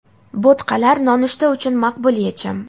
Bo‘tqalar nonushta uchun maqbul yechim.